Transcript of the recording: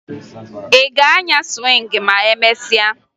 Ị ga-anya sụwịngị ma emesịa?